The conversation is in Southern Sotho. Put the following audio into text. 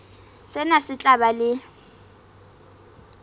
sena se tla ba le